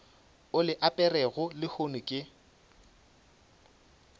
o le aperego lehono ke